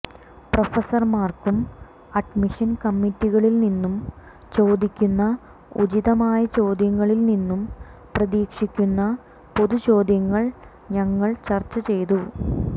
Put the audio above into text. പ്രൊഫസർമാർക്കും admission കമ്മിറ്റികളിൽനിന്നും ചോദിക്കുന്ന ഉചിതമായ ചോദ്യങ്ങളിൽ നിന്നും പ്രതീക്ഷിക്കുന്ന പൊതു ചോദ്യങ്ങൾ ഞങ്ങൾ ചർച്ചചെയ്തു